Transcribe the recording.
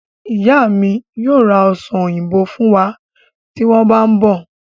Ìyá mi yóò ra ọsàn òyìnbó fún wa tí wọ́n bá ń bere